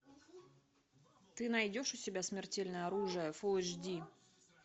ты найдешь у себя смертельное оружие фул эйч ди